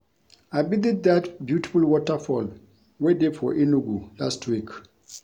I visit dat beautiful waterfall wey dey for Enugu last week